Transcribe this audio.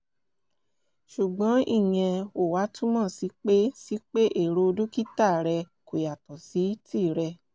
ṣùgbọ́n ìyẹn ò wá túmọ̀ sí pé sí pé èrò dókítà rẹ kò yàtọ̀ sí tìrẹ o